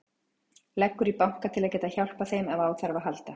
Leggur í banka til að geta hjálpað þeim ef á þarf að halda.